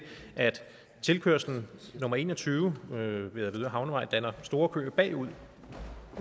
at tilkørsel nummer en og tyve ved avedøre havnevej danner store køer bagud